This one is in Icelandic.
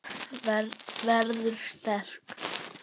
Verður sterk.